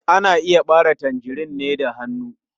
Ana iya ɓare tangerine da hannu.